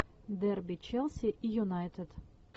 дерби челси и юнайтед